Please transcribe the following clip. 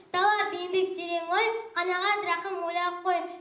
талап еңбек терең ой қанағат рақым ойлап қой